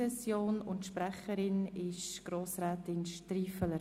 Sprecherin ist Grossrätin Stiffeler.